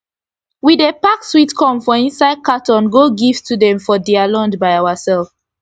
we dey pack sweet corn for inside cartoon go give student for dia lunch by oursef